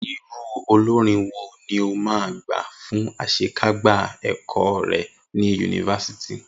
Irú olórin wo ni o máa gbà fún àṣekágbá ẹ̀kọ́ rẹ̀ ni yunifásítì?